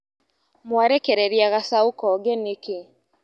Mwarekereria gacaũ konge nĩkĩ.